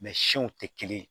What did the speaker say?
siw tɛ kelen ye